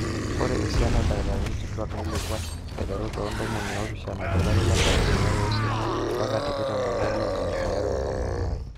ore esiana ooldakitarini kituaak neilepua aterru te tomon oopishana tolari loo nkalifuni are ooisiet mbaka tikitam tolari loonkalifuni are o tomon aare